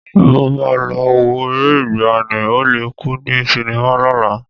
Mo máa lọ wo eré ìgbàanì, Ó le kú ní sinimá lọ́la